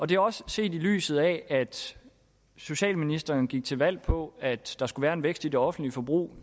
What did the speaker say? det er også set i lyset af at socialministeren gik til valg på at der skulle være en vækst i det offentlige forbrug